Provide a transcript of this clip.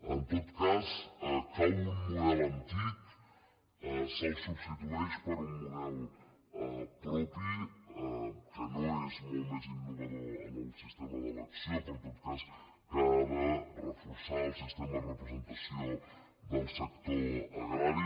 en tot cas cau un model antic se’l substitueix per un model propi que no és molt més innovador en el siste·ma d’elecció però en tot cas que ha de reforçar el sis·tema de representació del sector agrari